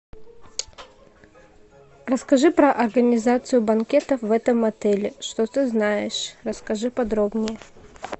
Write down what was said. расскажи про организацию банкетов в этом отеле что ты знаешь расскажи подробнее